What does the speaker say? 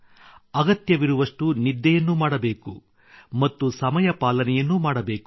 ಅಗತ್ಯವಿರುವಷ್ಟು ನಿದ್ದೆಯನ್ನು ಮಾಡಬೇಕು ಮತ್ತು ಸಮಯ ಪಾಲನೆಯನ್ನೂ ಮಾಡಬೇಕು